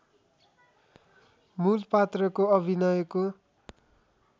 मूल पात्रको अभिनयको